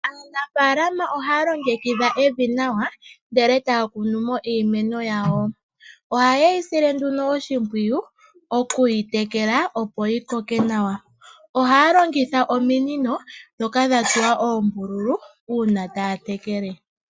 Aanafaalama ohaya longekidha evi nawa, ndele taya kunomo iimeno yawo. Ohayeyi sile nduno oshimpwiyu, okuyi tekele opo yowape okukoka nawa. ohaya longitha ominino ndhoka dhatsuwa oombululu uuna taya tekele.